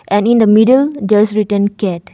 And in the middle there is written cat.